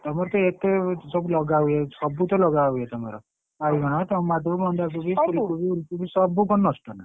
ତମର ତ ଏତେ ସବୁ ଲଗାହୁଏ ସବୁ ତ ଲଗାହୁଏ ତମର ଆଳୁ tomato ବନ୍ଧାକୋବି ସବୁ ଫୁଲକୋବି ଉଲକୋବି ସବୁ କଣ ନଷ୍ଟ ନା?